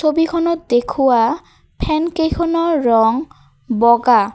ছবিখনত দেখুওৱা ফেনকেইখনৰ ৰং বগা।